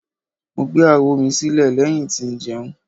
Mo gbe awo mi si ilẹ lẹhin ti njẹun